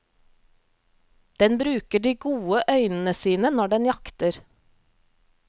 Den bruker de gode øynene sine når den jakter.